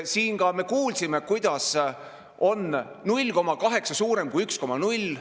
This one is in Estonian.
Siin ka me kuulsime, kuidas on 0,8 suurem kui 1,0.